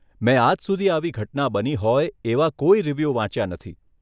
મે આજ સુધી આવી ઘટના બની હોય એવા કોઈ રિવ્યુ વાંચ્યા નથી.